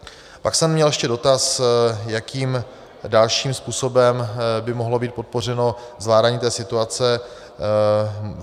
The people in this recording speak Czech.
Pak jsem měl ještě dotaz, jakým dalším způsobem by mohlo být podpořeno zvládání té situace.